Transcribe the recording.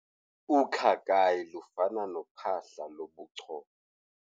Ukhakayi lufana nophahla lobuchopho.